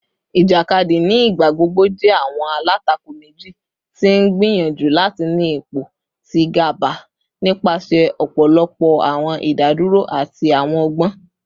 Ijakadi ni igbagbogbo jẹ awọn alatako meji ti n gbiyanju lati ni ipo ti gaba nipasẹ ọpọlọpọ awọn idaduro ati awọn ọgbọn